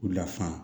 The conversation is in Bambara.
U lafaamu